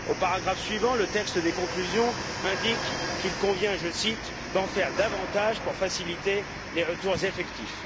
Au paragraphe suivant, le texte des conclusions indique qu'il convient, je cite, d'en faire davantage pour faciliter les retours effectifs.